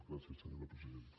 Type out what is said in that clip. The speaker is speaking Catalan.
gràcies senyora presidenta